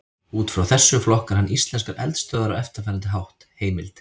Út frá þessu flokkar hann íslenskar eldstöðvar á eftirfarandi hátt: Heimild: